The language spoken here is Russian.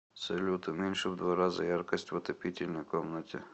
салют уменьши в два раза яркость в отопительной комнате